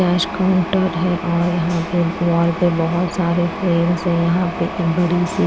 cash counter है और यहां पे वॉल पे बहोत सारे फ्रेम्स है यहां पे एक बड़ी सी--